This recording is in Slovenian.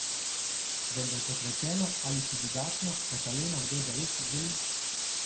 Vendar kot rečeno, ali si drugačno Kataleno kdo zares želi?